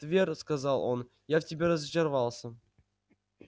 твер сказал он я в тебе разочаровался